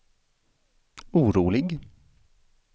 orolig